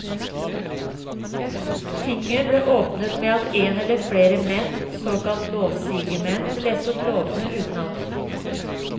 Tinget ble åpnet med at en eller flere menn, såkalte lovsigemenn, leste opp lovene utenat.